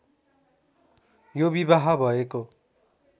यो विवाह भएको